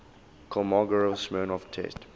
kolmogorov smirnov test